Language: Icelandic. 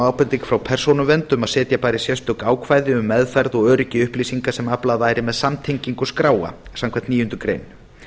ábending frá persónuvernd um að setja bæri sérstök ákvæði um meðferð og öryggi upplýsinga sem aflað væri með samtengingu skráa samkvæmt níundu grein